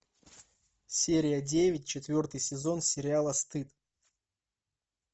серия девять четвертый сезон сериала стыд